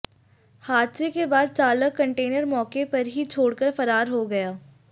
हादसे के बाद चालक कंटेनर मौके पर ही छोड़कर फरार हो गया